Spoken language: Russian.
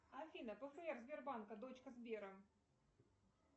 афина пфр сбербанка дочка сбера